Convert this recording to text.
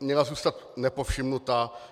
měla zůstat nepovšimnuta.